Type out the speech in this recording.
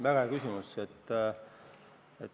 Väga hea küsimus!